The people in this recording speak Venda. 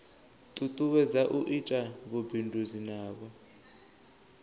tutuwedza u ita vhubindudzi navho